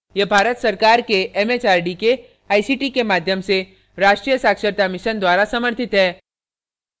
यह भारत सरकार के एमएचआरडी के आईसीटी के माध्यम से राष्ट्रीय साक्षरता mission द्वारा समर्थित है